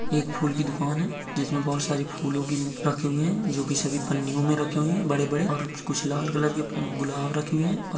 एक फूल की दुकान हैं। जिसमे बहुत सारी फूल रखे हुए है जो सभी पन्निओ मैं रखे हुए है बड़े बड़े और कुछ लाल कलर के गुलाब रखे हुए है औ--